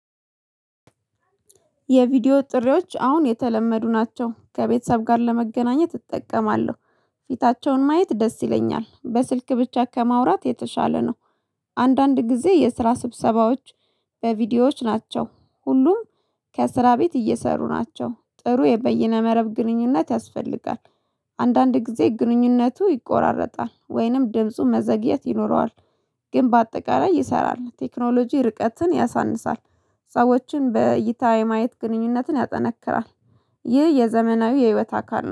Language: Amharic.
የቪዲዮ ጥሪዎች አሁን የተለመዱ ናቸው። ከቤተሰብ ጋር ለመገናኘት እጠቀማለሁ። ፊታቸውን ማየት ደስ ይለኛል በስልክ ብቻ ከማውራት የተሻለ ነው። አንዳንድ ጊዜ የስራ ስብሰባዎች በቪዲዮዎች ናቸው። ሁሉም ከስራ ቤት እየሰሩ ናቸው ጥሩ የበይነ መረብ ግንኙነት ያስፈልጋል። አንዳንድ ጊዜ ግንኙነቱ ይቆራረጣል ወይንም ድምፁ መዘግየት ይኖረዋል። ግን በአጠቃላይ ይሰራል ቴክኖሎጂ ርቀትን ያሳንሳል፥ ሰዎችን በይታ የማየት ግንኙነትን ያጠነክራል፤ ይህ የዘመናዊ የህይወት አካል።